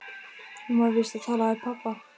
Hún var víst að tala við pabba.